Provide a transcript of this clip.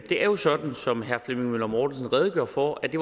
er jo sådan som herre flemming møller mortensen redegjorde for at det